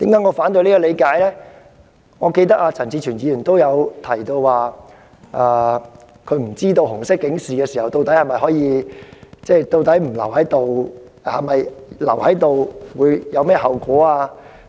我猶記得，陳志全議員亦曾提及自己亦不知道在紅色警示生效期間逗留在綜合大樓內的後果。